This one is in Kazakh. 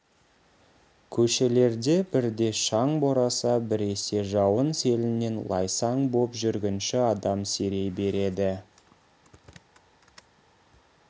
көшелерде бірде шаң бораса біресе жауын селінен лайсаң боп жүргінші адам сирей береді